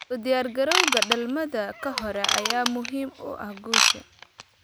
U diyaargarowga dhalmada ka hor ayaa muhiim u ah guusha.